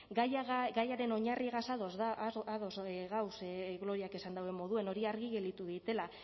gaiaren oinarrigaz ados gagoz gloriak esan dauen moduan hori argi gelditu deitela